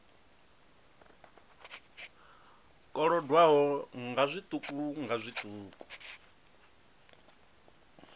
kolodwaho nga zwiṱuku nga zwiṱuku